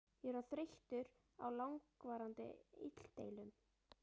Ég er orðinn þreyttur á langvarandi illdeilum.